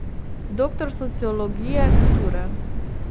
Doktor sociologije kulture.